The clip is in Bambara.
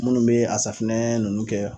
Munnu be safunɛ nunnu kɛ